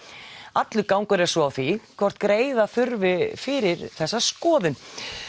allur gangur er svo á því hvort greiða þurfi fyrir þá skoðun